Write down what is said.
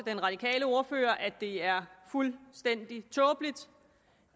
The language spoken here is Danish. den radikale ordfører at det er fuldstændig tåbeligt